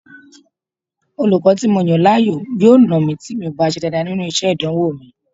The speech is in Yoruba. Olùkọ́ tí mo yàn láàyò yóò nà mí tí mi ò bá ṣe dáadáa nínú iṣẹ́ ìdánwò mi